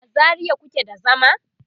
a zaria kuke da zama?